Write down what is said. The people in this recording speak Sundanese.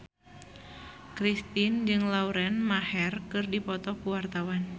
Kristina jeung Lauren Maher keur dipoto ku wartawan